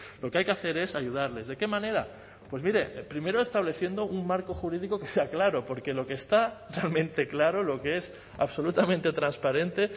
lo que hay que hacer es ayudarles de qué manera pues mire primero estableciendo un marco jurídico que sea claro porque lo que está realmente claro lo que es absolutamente transparente